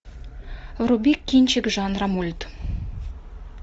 вруби кинчик жанра мульт